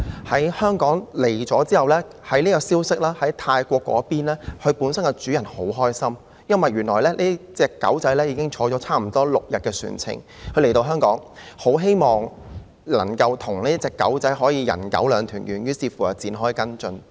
抵港後，消息傳到泰國，牠的主人十分高興，原來這隻小狗已經在船上差不多6天了，他很希望能夠與小狗"人狗兩團圓"，於是展開跟進。